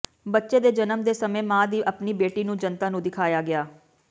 ਬੱਚੇ ਦੇ ਜਨਮ ਦੇ ਸਮੇਂ ਮਾਂ ਦੀ ਆਪਣੀ ਬੇਟੀ ਨੂੰ ਜਨਤਾ ਨੂੰ ਦਿਖਾਇਆ ਗਿਆ